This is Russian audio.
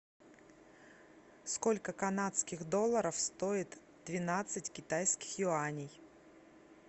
сколько канадских долларов стоит двенадцать китайских юаней